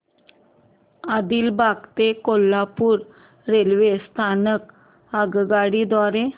आदिलाबाद ते कोल्हापूर रेल्वे स्थानक आगगाडी द्वारे